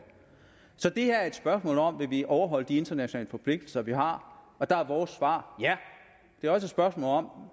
så det her er et spørgsmål om hvorvidt vi vil overholde de internationale forpligtelser vi har og der er vores svar ja det er også et spørgsmål om